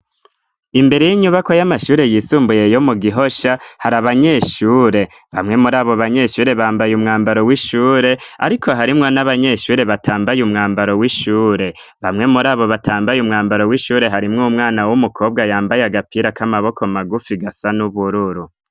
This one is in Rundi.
Imbere y'inyubakwa y'amashure yisumbuye yo mu Gihosha hari abanyeshure bamwe muri abo banyeshure bambaye umwambaro w'ishure ariko harimwo n'abanyeshure batambaye umwambaro w'ishure bamwe muri abo batambaye umwambaro w'ishure harimwo umwana w'umukobwa yambaye agapira k'amaboko magufi gasa n'ubururu.